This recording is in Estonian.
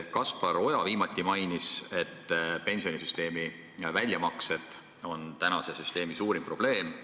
Kaspar Oja mainis, et pensionisüsteemi väljamaksed on praeguse süsteemi suurim probleem.